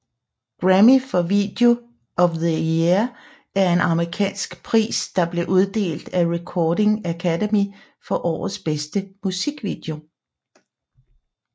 Grammy for Video of the Year er en amerikansk pris der blev uddelt af Recording Academy for årets bedste musikvideo